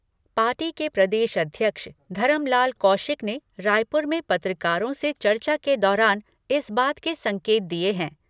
Party के प्रदेश अध्यक्ष धरमलाल कौशिक ने रायपुर में पत्रकारों से चर्चा के दौरान इस बात के संकेत दिए हैं।